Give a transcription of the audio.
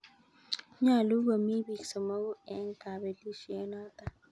Nyolu komi biik somoku eng' kapelishet noto.